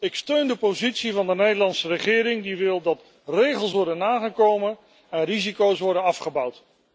Ik steun de positie van de Nederlandse regering die wil dat regels worden nagekomen en risico's worden afgebouwd.